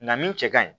Nka min cɛ ka ɲi